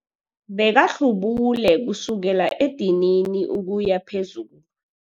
Bekahlubule kusukela edinini ukuya phezulu.